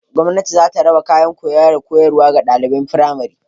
Gwamnati za ta raba kayan koyo da koyarwa ga ɗaliban firamari.